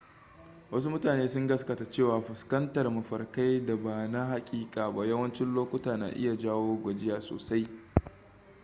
wasu mutane sun gaskata cewa fuskantar mafarkai da ba na hakika ba yawancin lokuta na iya jawo gajiya sosai